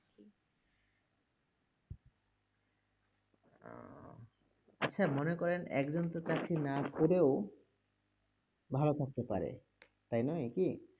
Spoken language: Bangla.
আচ্ছা মনে করেন একজন তো চাকরি না করেও ভালো থাকতে পারে, তাই নয় কি?